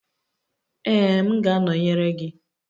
Ee, m ga-anọnyere gị.